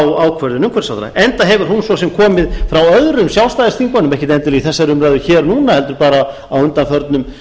á ákvörðun umhverfisráðherra enda hefur hún svo sem komið frá öðrum sjálfstæðisþingmönnum ekki endilega í þessari umræðu núna heldur á undanförnum